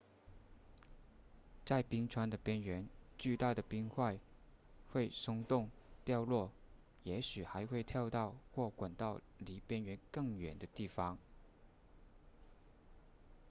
在冰川的边缘巨大的冰块会松动掉落也许还会跳到或滚到离边缘更远的地方